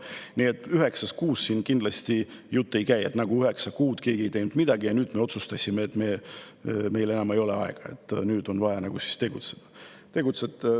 Nii et üheksast kuust siin kindlasti pole juttugi – et nagu üheksa kuud keegi ei teinud midagi ja nüüd me otsustasime, et meil enam ei ole aega, on vaja tegutseda.